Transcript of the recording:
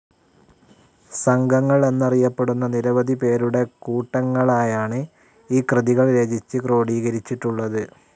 സംഘങ്ങൾ എന്നറിയപ്പെടുന്ന നിരവധി പേരുടെ കൂട്ടങ്ങളായാണ്‌ ഈ കൃതികൾ രചിച്ച് ക്രോഡീകരിച്ചിട്ടുള്ളത്.